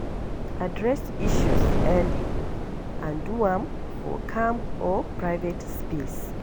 Address issues early and do am for calm or private space